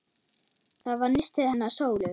Það var nistið hennar Sólu.